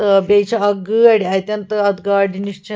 .تہٕ بیٚیہِ چھ اکھ گٲڑۍاَتٮ۪ن تہٕ اَتھ گاڑِنِش چھ